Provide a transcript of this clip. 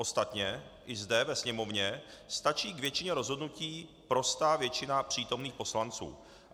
Ostatně i zde ve Sněmovně stačí k většině rozhodnutí prostá většina přítomných poslanců.